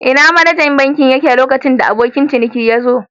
Ina manajan bankin yake lokacin da abokin cinikin yazo?.